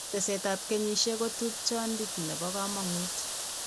Tesetab kenyishek ko tupchondit nebo kamang'ut .